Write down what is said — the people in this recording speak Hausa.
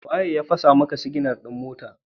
Wa ya fasa maka siginar motarka?